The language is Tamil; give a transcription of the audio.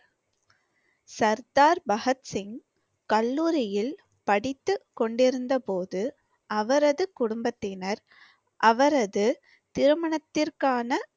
சர்தார் பகத்சிங் கல்லூரியில் படித்துக் கொண்டிருந்தபோது, அவரது குடும்பத்தினர் அவரது திருமணத்திற்கான